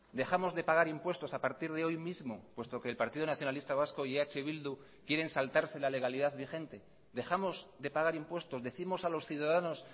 dejamos de pagar impuestos a partir de hoy mismo puesto que el partido nacionalista vasco y eh bildu quieren saltarse la legalidad vigente dejamos de pagar impuestos decimos a los ciudadanos